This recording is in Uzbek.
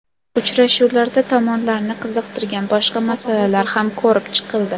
Uchrashuvlarda tomonlarni qiziqtirgan boshqa masalalar ham ko‘rib chiqildi.